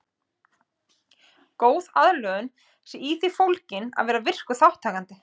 Góð aðlögun sé í því fólgin að vera virkur þátttakandi.